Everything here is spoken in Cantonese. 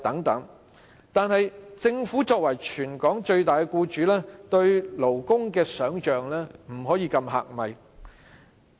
可是，政府作為全港最大僱主，對勞工的想象不能過於狹隘。